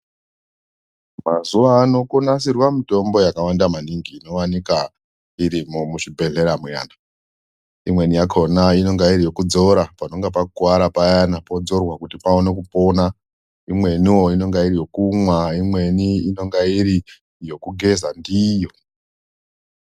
Mazuvano konasirwa mitombo yakawanda maningi inowanika irimo muzvibhedhlera muya, imweni yakona inenge iri yekudzora panonga pakuvara payana, podzorwa kuti pawone kupona, imwenivo inonga iri yokumwa, imweni inoga iri yokugeza ndiyo.